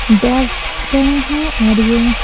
दौड़ रहे हैं और यह--